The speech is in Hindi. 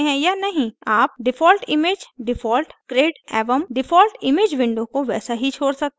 आप default image default grid एवं default image window को वैसा ही छोड़ सकते हैं